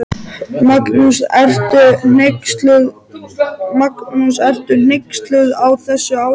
Magnús: Ertu hneyksluð á þessu ástandi?